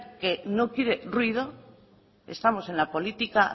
que no quiere ruido estamos en la política